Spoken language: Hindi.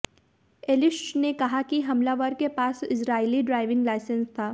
एलिश्च ने कहा कि हमलावर के पास इजरायली ड्राइविंग लाइसेंस था